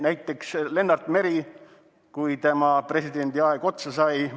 Näiteks, kui Lennart Meri presidendiaeg otsa sai.